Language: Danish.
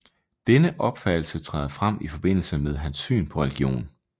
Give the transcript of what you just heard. Denne opfattelse træder frem i forbindelse med hans syn på religion